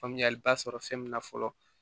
Faamuyaliba sɔrɔ fɛn min na fɔlɔ